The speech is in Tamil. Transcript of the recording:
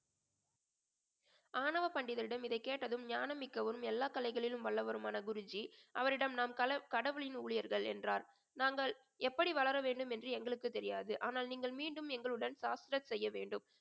ஆணவ பண்டிதரிடம் இதை கேட்டதும் ஞானம் மிக்கவரும் எல்லா கலைகளிலும் வல்லவருமான குருஜி அவரிடம் நாம் கல~ கடவுளின் ஊழியர்கள் என்றார் நாங்கள் எப்படி வளர வேண்டும் என்று எங்களுக்கு தெரியாது ஆனால் நீங்கள் மீண்டும் எங்களுடன் செய்ய வேண்டும்